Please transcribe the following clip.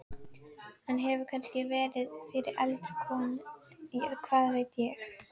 Hann hefur kannski verið fyrir eldri konur, hvað veit ég.